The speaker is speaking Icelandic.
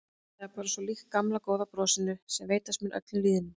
Það er bara svo líkt gamla góða brosinu sem veitast mun öllum lýðnum.